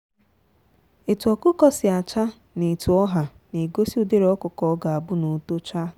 etu ọkụkọ si acha na etu ọha na egosi ụdịrị ọkụkọ ọ ga-abu n'otocha